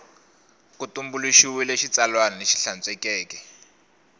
ku tumbuluxiwile xitsalwana lexi hlantswekeke